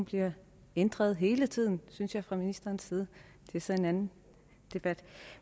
bliver ændret hele tiden synes jeg fra ministerens side det er så en anden debat